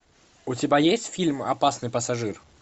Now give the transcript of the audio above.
у тебя есть фильм опасный пассажир